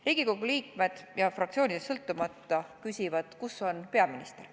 Riigikogu liikmed, fraktsioonidest sõltumata, küsivad, kus on peaminister.